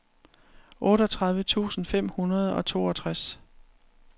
otteogtredive tusind fem hundrede og toogtres